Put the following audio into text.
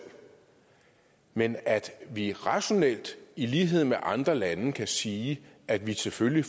men at vi rationelt i lighed med andre lande kan sige at vi selvfølgelig